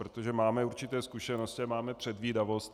Protože máme určité zkušenosti a máme předvídavost.